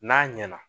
N'a ɲɛna